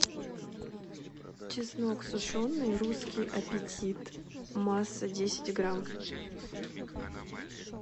чеснок сушеный русский аппетит масса десять грамм